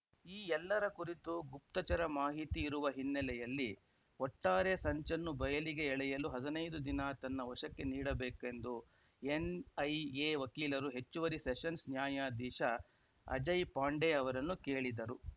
ಈ ಎಲ್ಲರ ಕುರಿತು ಗುಪ್ತಚರ ಮಾಹಿತಿ ಇರುವ ಹಿನ್ನೆಲೆಯಲ್ಲಿ ಒಟ್ಟಾರೆ ಸಂಚನ್ನು ಬಯಲಿಗೆ ಎಳೆಯಲು ಹದಿನೈದು ದಿನ ತನ್ನ ವಶಕ್ಕೆ ನೀಡಬೇಕು ಎಂದು ಎನ್‌ಐಎ ವಕೀಲರು ಹೆಚ್ಚುವರಿ ಸೆಷನ್ಸ್‌ ನ್ಯಾಯಾಧೀಶ ಅಜಯ್‌ ಪಾಂಡೆ ಅವರನ್ನು ಕೇಳಿದರು